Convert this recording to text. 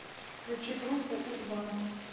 включи группу у два